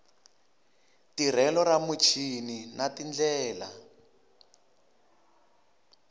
tirhelo ra muchini na tindlela